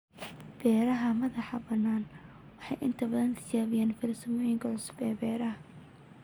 Beeraha madax-bannaan waxay inta badan tijaabiyaan farsamooyinka cusub ee beeraha.